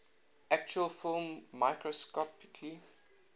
actual film microscopically